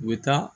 U bɛ taa